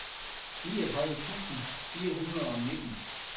niogtredive tusind fire hundrede og nitten